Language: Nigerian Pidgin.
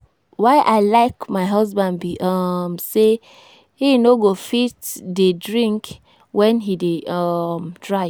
Why I like my husband be um say he no go fit dey drink wen he dey um drive